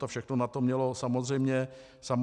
To všechno na to mělo samozřejmě vliv.